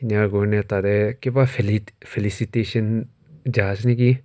jar karne tarte kiba felicitation jaise niki.